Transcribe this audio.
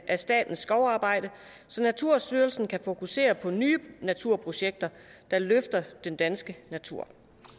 af statens skovarbejde så naturstyrelsen kan fokusere på nye naturprojekter der løfter den danske natur